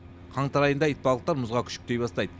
қаңтар айында итбалықтар мұзға күшіктей бастайды